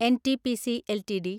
NTPC LTD